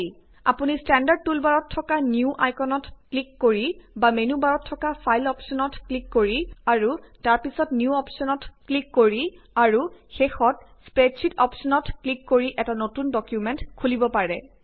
আপুনি ষ্টেণ্ডাৰ্ড টুলবাৰত থকা নিউ আইকনটোত ক্লিক কৰি বা মেনু বাৰত থকা ফাইল অপশ্বনত ক্লিক কৰি অৰু তাৰ পিছত নিউ অপশ্বনত ক্লিক কৰি আৰু শেষত স্প্ৰেডশ্বিট অপশ্বনত ক্লিক কৰি এটা নতুন ডকুমেন্ট খুলিব পাৰে